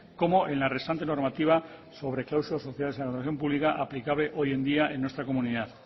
como en la restante normativa sobre cláusulas sociales en la relación pública aplicable hoy en día en nuestra comunidad